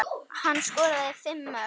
Hann skoraði fimm mörk.